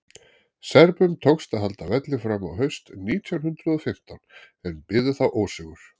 serbum tókst að halda velli fram á haust nítján hundrað og fimmtán en biðu þá ósigur